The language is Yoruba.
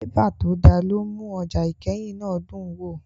Bébà tó dá ló ń mú ọjà ìkẹyìn náà dùn wò